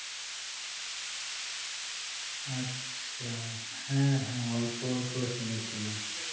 আচ্ছা হ্যাঁ হ্যাঁ অল্প অল্প শুনেছিলাম